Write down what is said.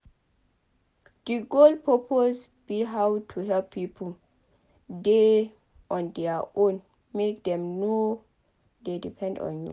The goal suppose be how to help pipo dey on their own make dem no dey depend on you